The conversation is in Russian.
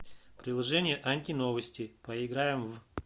приложение антиновости поиграем в